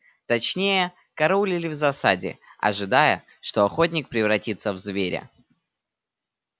точнее караулили в засаде ожидая что охотник превратится в зверя